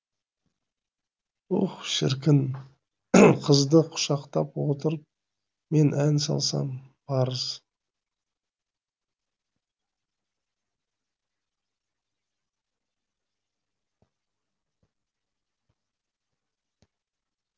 уһ шіркін қызды құшақтап отырып мен ән салсам парыз